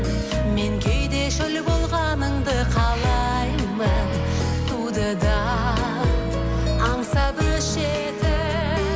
мен кейде шөл болғаныңды қалаймын суды да аңсап өшетін